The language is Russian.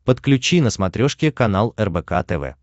подключи на смотрешке канал рбк тв